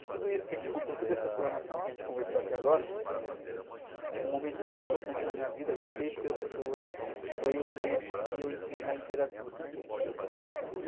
De tudo isso que a gente contou, toda essa explanação que a gente conversou aqui agora, o momento mais importante na minha vida, que fez ser o que eu sou hoje, foi o momento que eu entrei na literatura.